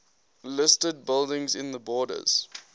listed buildings in the borders